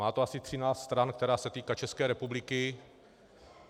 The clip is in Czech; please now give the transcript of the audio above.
Má to asi 13 stran, týká se to České republiky.